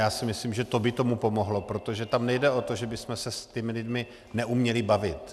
Já si myslím, že to by tomu pomohlo, protože tam nejde o to, že bychom se s těmi lidmi neuměli bavit.